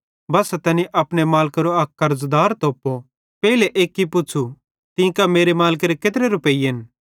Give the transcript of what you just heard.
बस्सा तैनी अपने मालिकेरो अक कर्ज़दार तोपते पेइले एक्की पुच़्छ़ू तीं कां मेरे मालिकेरे केत्रे रुपैइयेन